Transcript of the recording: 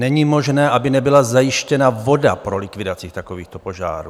Není možné, aby nebyla zajištěna voda pro likvidaci takovýchto požárů.